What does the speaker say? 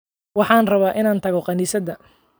Waxaan rabaa inaan tago kaniisadda